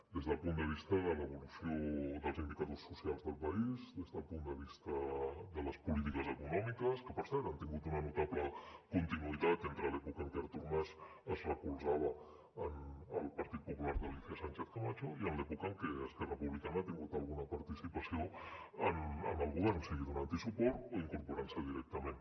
des del punt de vista de l’evolució dels indicadors socials del país des del punt de vista de les polítiques econòmiques que per cert han tingut una notable continuïtat entre l’època en què artur mas es recolzava en el partit popular d’alícia sánchez camacho i en l’època en què esquerra republicana ha tingut alguna participació en el govern sigui donant hi suport o incorporant s’hi directament